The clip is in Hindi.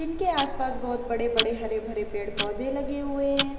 इनके आस पास बोहोत बड़े बड़े हरे भरे पेड़ पौधे लगे हुए हैं।